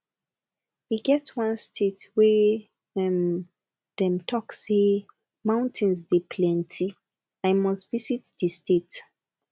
e get one state wey um dem talk say mountains dey plenty i must visit di state